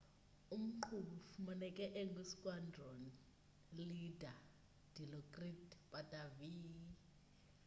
umqhubi ufumaneke engu squandron leader dilokrit pattavee